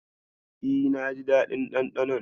E, naji daɗin ɗanɗanon.